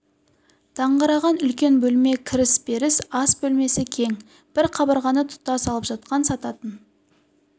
даңғыраған үлкен бөлме кіре беріс ас бөлмесі кең бір қабырғаны тұтас алып жатқан сататын